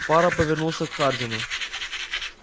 фара повернулся к хардину